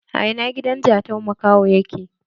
A ina gidan Jatau makaho yake?